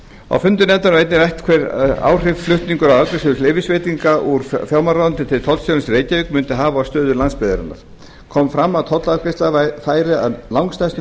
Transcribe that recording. á fundum nefndarinnar var einnig rætt hver áhrif flutningur á afgreiðslu leyfisveitinga úr fjármálaráðuneyti til tollstjórans í reykjavík mundi hafa á stöðu landsbyggðarinnar kom fram að tollafgreiðsla færi að langstærstum